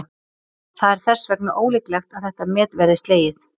Það er þess vegna ólíklegt að þetta met verði slegið.